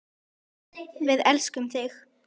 Við elskum þig!